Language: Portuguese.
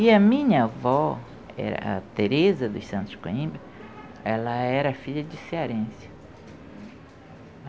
E a minha avó, era Teresa dos Santos Coimbra, ela era filha de cearense.